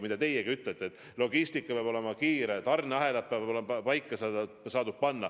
Nagu teiegi ütlesite, logistika peab olema kiire, tarneahelad peavad olema paika pandud.